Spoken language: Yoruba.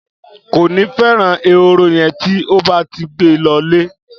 Kòní feran èhóró yen ti o báti gbé lõlé